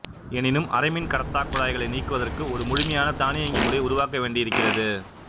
எனினும் அரைமின்கடத்தாக் குழாய்களை நீக்குவதற்கு ஒரு முழுமையான தானியங்கு முறை உருவாக்க வேண்டியிருக்கிறது